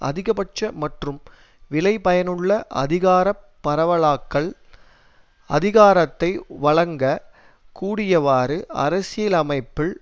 அதிகபட்ச மற்றும் விளைபயனுள்ள அதிகார பரவலாக்கல் அதிகாரத்தை வழங்க கூடியவாறு அரசியலமைப்பில்